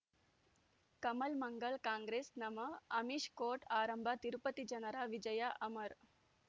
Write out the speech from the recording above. ಕಮಲ್ ಮಂಗಳ್ ಕಾಂಗ್ರೆಸ್ ನಮಃ ಅಮಿಷ್ ಕೋರ್ಟ್ ಆರಂಭ ತಿರುಪತಿ ಜನರ ವಿಜಯ ಅಮರ್